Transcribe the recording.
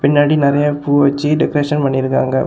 பின்னாடி நிறைய பூ வச்சு டெக்கரேஷன் பண்ணியிருக்காங்க.